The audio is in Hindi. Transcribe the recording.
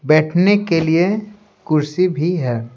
बैठने के लिए कुर्सी भी है।